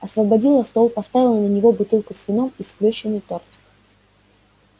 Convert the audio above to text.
освободила стол поставила на него бутылку с вином и сплющенный тортик